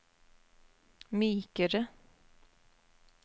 mykere